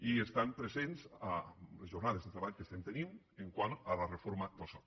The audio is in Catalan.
i estan presents a les jornades de treball que estem tenint pel que fa a la reforma del soc